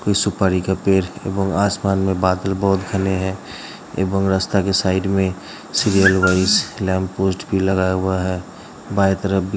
कोई सुपारी का पेड़ व आसमान में बादल बहोत घने हैं एक और रस्ता के साइड में सीरियल वाइज लैम्पपोस्ट भी लगाया हुआ है बाईं तरफ भी --